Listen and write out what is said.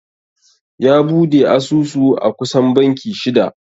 Ya bude asusu a kusan banki shida.